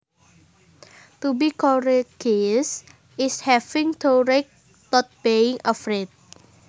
To be courageous is having courage not being afraid